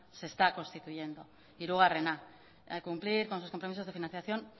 se está constituyendo hirugarrena al cumplir con sus compromisos de financiación